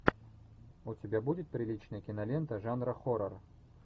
у тебя будет приличная кинолента жанра хоррор